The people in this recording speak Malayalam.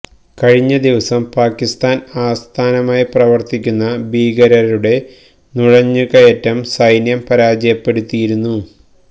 കഴിഞ്ഞ ദിവസം പാക്കിസ്ഥാന് ആസ്ഥാനമായി പ്രവര്ത്തിക്കുന്ന ഭീകരരുടെ നുഴഞ്ഞുകയറ്റം സൈന്യം പരാജയപ്പെടുത്തിയിരുന്നു